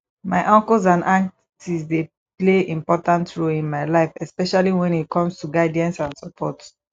my uncles and aunties dey play important role in my life especially when it comes to guidance and support